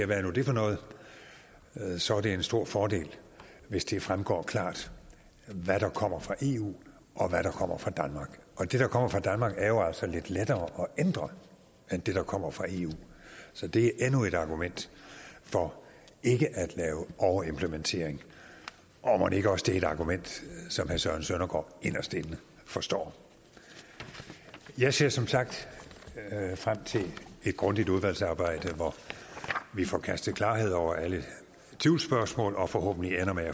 hvad er nu det for noget så er det en stor fordel hvis det fremgår klart hvad der kommer fra eu og hvad der kommer fra danmark og det der kommer fra danmark er jo altså lidt lettere at ændre end det der kommer fra eu så det er endnu et argument for ikke at lave overimplementering og mon ikke også det er et argument som herre søren søndergaard inderst inde forstår jeg ser som sagt frem til et grundigt udvalgsarbejde hvor vi får kastet klarhed over alle tvivlsspørgsmål og forhåbentlig ender med